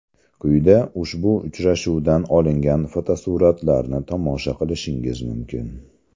Quyida ushbu uchrashuvdan olingan fotosuratlarni tomosha qilishingiz mumkin.